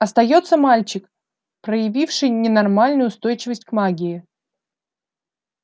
остаётся мальчик проявивший ненормальную устойчивость к магии